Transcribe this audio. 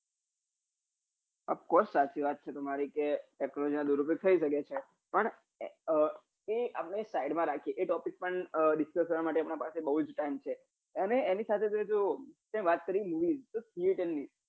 off course સાચી વાત છે તમારી ક technology પણ એ આપડે સાઈડમાં રાખીએ એ topic પણ discuss માટે પણ બહુજ time છે અને એની સાથે સાથે જો તે વાત કરી movie theater ની